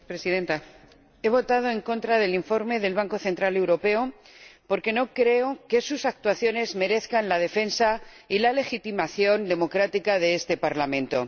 Señora Presidenta, he votado en contra del informe del Banco Central Europeo porque no creo que sus actuaciones merezcan la defensa y la legitimación democrática de este Parlamento.